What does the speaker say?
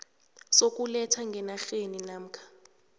sokuletha ngenarheni namkha